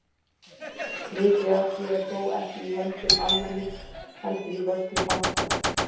Mikið af því er þó ekki í höndum almennings heldur í vörslu banka.